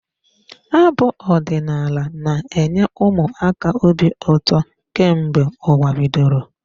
Abụ ọdinaala na-enye ụmụ aka obi ụtọ kemgbe ụwa bidoro.